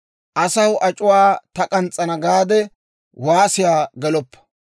Asaw ac'uwaa ta k'ans's'ana gaade waasiyaa geloppa.